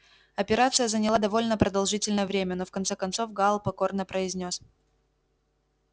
операция заняла довольно продолжительное время но в конце концов гаал покорно произнёс